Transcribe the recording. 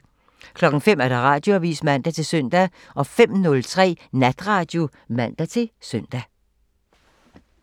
05:00: Radioavisen (man-søn) 05:03: Natradio (man-søn)